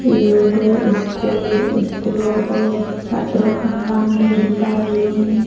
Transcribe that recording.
iyodo iskul iskulo dot satro gun lan guri dareyon.